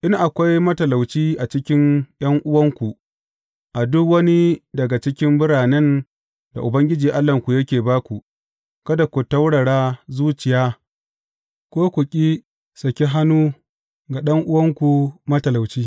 In akwai matalauci a cikin ’yan’uwanku, a duk wani daga cikin biranen da Ubangiji Allahnku yake ba ku, kada ku taurara zuciya, ko ku ƙi saki hannu ga ɗan’uwanku matalauci.